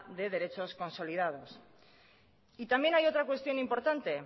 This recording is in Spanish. de derechos consolidados y también hay otra cuestión importante